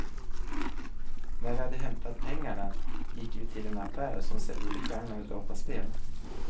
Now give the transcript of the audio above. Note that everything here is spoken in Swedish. När vi hade hämtat pengarna gick vi till en affär som säljer begagnade dataspel.